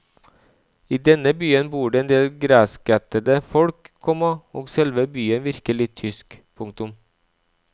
I denne byen bor det en del greskættede folk, komma og selve byen virker litt tysk. punktum